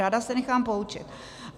Ráda se nechám poučit.